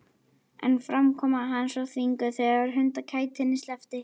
En framkoma hans var þvinguð þegar hundakætinni sleppti.